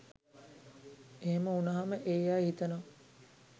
එහෙම වුණහම ඒ අය හිතනවා